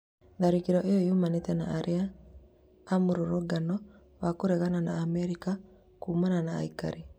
Tharĩkĩro ĩyo yumanĩte na aira a mũrũngano wa kũregana na Amerika kuumana na aikari